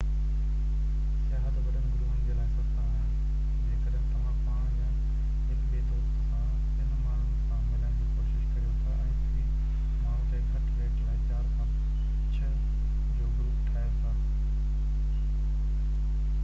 سياحت وڏن گروهن جي لاءِ سستا آهن جيڪڏهن توهان پاڻ يا هڪ ٻي دوست سان ٻين ماڻهن سان ملڻ جي ڪوشش ڪريو ٿا ۽ في ماڻهو تي گهٽ ريٽ لاءِ 4 کان 6 جو گروپ ٺاهيو ٿا